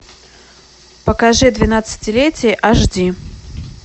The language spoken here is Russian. покажи двенадцатилетие аш ди